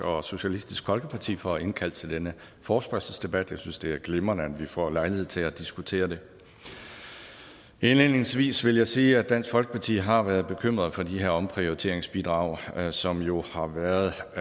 og socialistisk folkeparti for at indkalde til denne forespørgselsdebat jeg synes det er glimrende at vi får lejlighed til at diskutere det indledningsvis vil jeg sige at dansk folkeparti har været bekymret for de her omprioriteringsbidrag som der jo har været